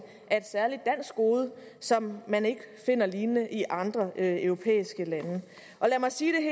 er et særligt dansk gode som man ikke finder lignende i andre europæiske lande og lad mig sige det